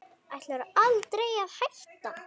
Ætlarðu aldrei að hætta?